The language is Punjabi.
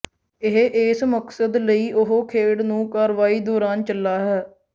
ਇਹ ਇਸ ਮਕਸਦ ਲਈ ਉਹ ਖੇਡ ਨੂੰ ਕਾਰਵਾਈ ਦੌਰਾਨ ਚਲਾ ਹੈ